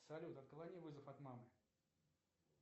салют отклони вызов от мамы